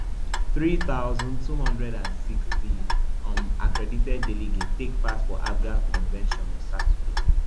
three thousand, two hundred and sixty um accredited delegates take part for apga convention on saturday